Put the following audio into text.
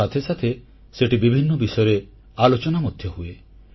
ତା ସାଥେ ସାଥେ ସେଠି ବିଭିନ୍ନ ବିଷୟରେ ଆଲୋଚନା ମଧ୍ୟ ହୁଏ